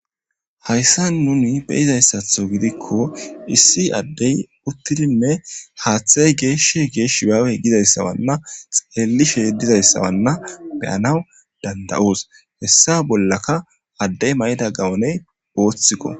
Hayssa nuni beyizayssatho gidikko issi addey uttidinne haaththay geeshshe geesh shibaawe gizayssawanna xeellishe y dizayssawanna beyanaw danda'oos hessa bollaka addey mayida gawoney ooththikko.